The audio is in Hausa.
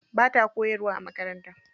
Bata koyarwa a makaranta.